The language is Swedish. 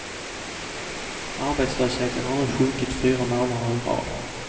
Arbetslösheten har nu sjunkit fyra månader i rad.